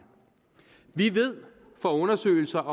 fra undersøgelser